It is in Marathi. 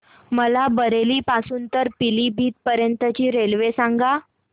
मला बरेली पासून तर पीलीभीत पर्यंत ची रेल्वे सांगा